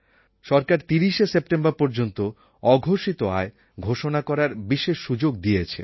সরকার ৩০শে সেপ্টেম্বর পর্যন্ত অঘোষিত আয় ঘোষণা করার বিশেষ সুযোগ দিয়েছে